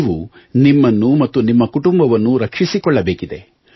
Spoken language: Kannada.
ನೀವು ನಿಮ್ಮನ್ನು ಮತ್ತು ನಿಮ್ಮ ಕುಟುಂಬವನ್ನು ರಕ್ಷಿಸಿಕೊಳ್ಳಬೇಕಿದೆ